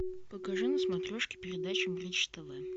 покажи на смотрешке передачу бридж тв